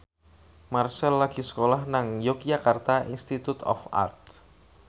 Marchell lagi sekolah nang Yogyakarta Institute of Art